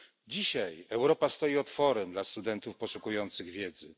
Dzisiaj Europa stoi otworem dla studentów poszukujących wiedzy.